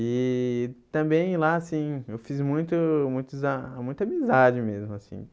E também lá, assim, eu fiz muito muitos ah muita amizade mesmo, assim.